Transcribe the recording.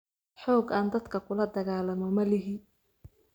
Xoog aan dadka kula dagaalamo ma lihi